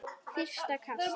Fyrsta kast